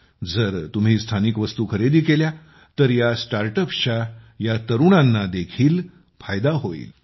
जर तुम्ही स्थानिक वस्तू खरेदी केल्या तर स्टार्ट अप्सच्या या तरुणांना देखील फायदा होईल